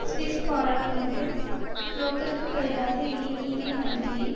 Swiss பாராளுமன்றம் ப்ளோக்கருக்கு பதிலாக இனை நீதி மந்திரியை